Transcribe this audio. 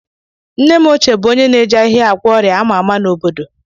Nne m ochie bụ onye na-eji ahịhịa agwọ ọrịa a ma ama n'obodo m.